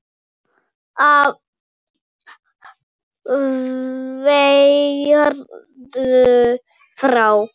Af hverju þá?